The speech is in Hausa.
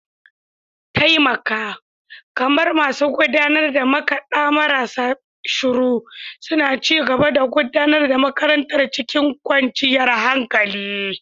Mataimaka, kamar masu gudanar da makada marasa shiru, suna ci gaba da gudanar da makarantar cikin kwanciyar hankali.